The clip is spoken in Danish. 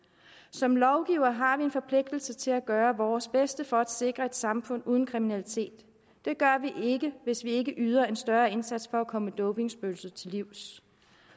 som lovgivere har vi en forpligtelse til at gøre vores bedste for at sikre et samfund uden kriminalitet det gør vi ikke hvis vi ikke yder en større indsats for at komme dopingspøgelset til livs